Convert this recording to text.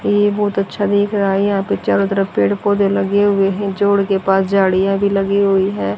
ये बहोत अच्छा देख रहा है यहा पे चारो तरफ पेड़ पौधे लगे हुए है जोड़ के पास झाड़िया भी लगी हुई है।